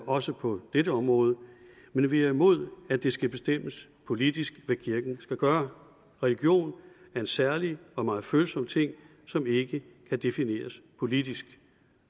også på dette område men vi er imod at det skal bestemmes politisk hvad kirken skal gøre religion er en særlig og meget følsom ting som ikke kan defineres politisk